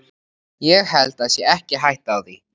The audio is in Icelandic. Ég held það sé ekki hætta á því.